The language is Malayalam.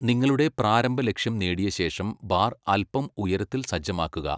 നിങ്ങളുടെ പ്രാരംഭ ലക്ഷ്യം നേടിയ ശേഷം, ബാർ അൽപ്പം ഉയരത്തിൽ സജ്ജമാക്കുക.